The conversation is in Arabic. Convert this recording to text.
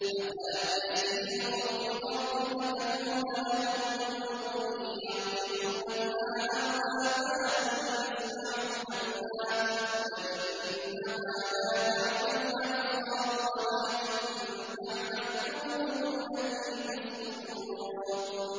أَفَلَمْ يَسِيرُوا فِي الْأَرْضِ فَتَكُونَ لَهُمْ قُلُوبٌ يَعْقِلُونَ بِهَا أَوْ آذَانٌ يَسْمَعُونَ بِهَا ۖ فَإِنَّهَا لَا تَعْمَى الْأَبْصَارُ وَلَٰكِن تَعْمَى الْقُلُوبُ الَّتِي فِي الصُّدُورِ